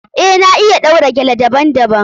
Eh, na iya ɗaura gele daban- daban.